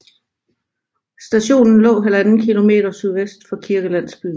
Stationen lå 1½ km sydvest for kirkelandsbyen